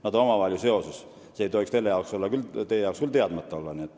Nad on ju omavahel seotud – see ei tohiks küll teile teadmata olla.